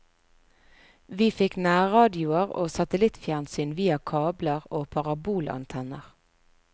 Vi fikk nærradioer og satelittfjernsyn via kabler og parabolantenner.